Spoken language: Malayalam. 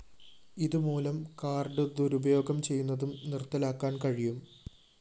ഇതുമൂലം കാർഡ്‌ ദുരുപയോഗം ചെയ്യുന്നതും നിര്‍ത്തലാക്കാന്‍ കഴിയും